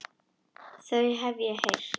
Þau hef ég heyrt.